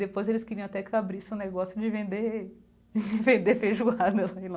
Depois, eles queriam até que eu abrisse um negócio de vender de vender feijoada lá em